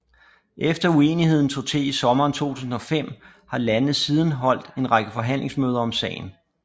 Efter uenigheden tog til i sommeren 2005 har landene siden holdt en række forhandlingsmøder om sagen